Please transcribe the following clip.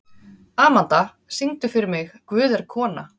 Amanda, syngdu fyrir mig „Guð er kona“.